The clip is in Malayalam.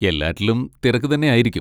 എല്ലാറ്റിലും തിരക്ക് തന്നെ ആയിരിക്കും.